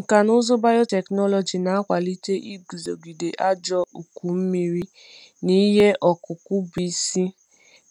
Nkà na ụzụ biotechnology na-akwalite iguzogide ajọ ụkọ mmiri n’ihe ọkụkụ bụ isi,